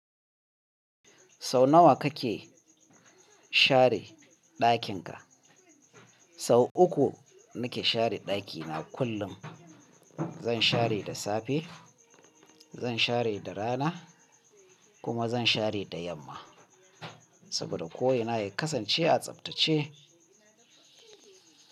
Sau nawa kake share ɗakin ka? Sau uku nike share ɗakina kullum. Zan share da safe, zan share da rana kuma zan share da yamma saboda ko ina ya kasance a tsaftace.